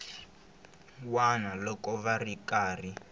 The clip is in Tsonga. wana loko va ri karhi